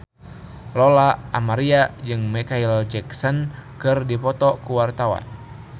Lola Amaria jeung Micheal Jackson keur dipoto ku wartawan